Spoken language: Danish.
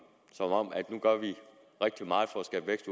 nu gør rigtig meget for at skabe vækst